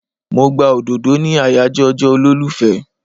Mo gba òdòdó ní àyàjọ́ ọjọ́ olólùfẹ́.